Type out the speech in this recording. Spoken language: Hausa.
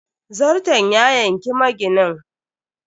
Zarton ya yanki maginin.